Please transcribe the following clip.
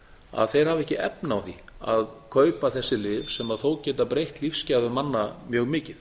að þeir hafa ekki efni á því að kaupa þessi lyf sem þó geta breytt lífsgæðum manna mjög mikið